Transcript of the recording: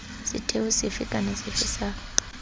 setheo sefe kana sefe sa